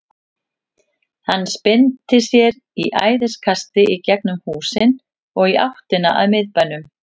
Hann spyrnti sér í æðiskasti í gegnum húsin og í áttina að miðbænum.